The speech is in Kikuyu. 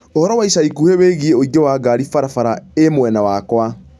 Ũhoro wa ica ikuhĩ wĩgiĩ ũingĩ wa ngari bara bara i mwena wakwa